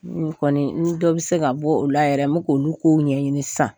N kɔni ni dɔ bɛ se ka bɔ o la yɛrɛ n bɛ k'olu kow ɲɛɲini sisan